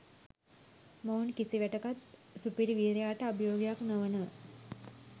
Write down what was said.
මොවුන් කිසිවිටෙකත් සුපිරි වීරයාට අභියෝගයක් නොවන